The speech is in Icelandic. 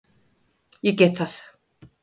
Ég get það.